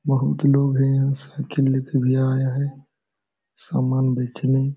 बहोत लोग है यहाँ सब खेलने के लिए आया है। सामान बेचने --